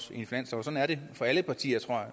sådan er det for alle partier tror